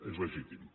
és legítim